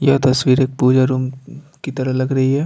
यह तस्वीर एक पूजा रूम अ की तरह लग रही है।